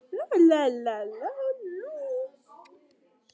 Í dag eru átta leikir á dagskrá og eru þrír þeirra í beinni útsendingu.